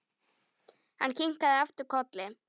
Hann kinkaði aftur kolli.